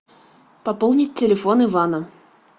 пополнить телефон ивана